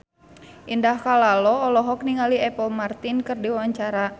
Indah Kalalo olohok ningali Apple Martin keur diwawancara